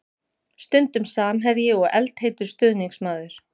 Stundum samherji og eldheitur stuðningsmaður.